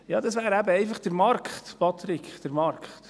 – Ja, das wäre eben einfach der Markt, Patrick Freudiger, der Markt!